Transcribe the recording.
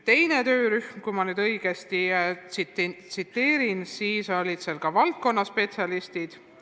Teises töörühmas olid valdkonnaspetsialistid.